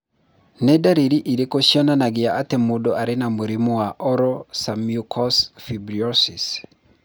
Nĩ ndariri irĩkũ cionanagia atĩ mũndũ arĩ na mũrimũ wa Oral submucous fibrosis?